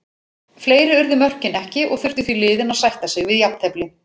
Fleiri urðu mörkin ekki og þurftu því liðin að sætta sig jafntefli.